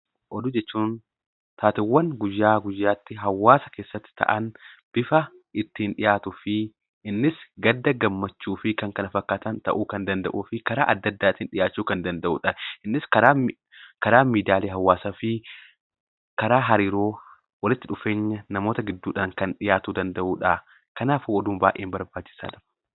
Oduu jechuun taateewwan guyyaa guyyaatti hawaasa keessatti ta'an bifa ittiin dhiyaatuu fi gadda, gammachuu fi kan kana fakkaatan ta'uu kan danda'uu fi karaa adda addaatiin dhiyaachuu kan danda'udha. Innis karaa miidiyaalee hawaasaa fi karaa hariiroo walitti dhufeenya namoota gidduudhaan dhiyaachuu kan danda'udha. Kanaaf oduun baay'ee barbaachisaadha.